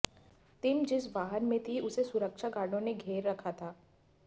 team जिस वाहन में थी उसे सुरक्षा गार्डो ने घेरे रखा था